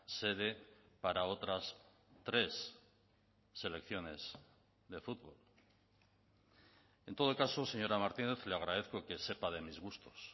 sede para otras tres selecciones de fútbol en todo caso señora martínez le agradezco que sepa de mis gustos